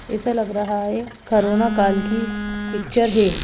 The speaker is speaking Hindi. ऐसा लग रहा है करोना काल की पिक्चर है।